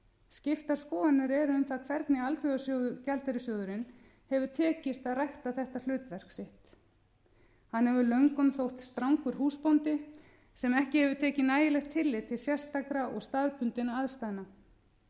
skiptar skoðanir eru um það hvernig alþjóðagjaldeyrissjóðnum hefur tekist að rækja þetta hlutverk sitt hann hefur löngum þótt strangur húsbóndi sem ekki hefur tekið nægilegt tillit til sérstakra og staðbundinna aðstæðna